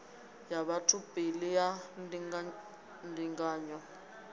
ya batho pele ya ndingandinganyo